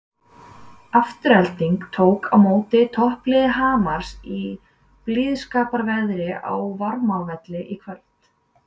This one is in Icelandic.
Afturelding tók á móti toppliði Hamars í blíðskaparveðri á Varmárvelli í kvöld.